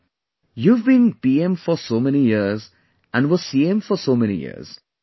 She said "You have been PM for so many years and were CM for so many years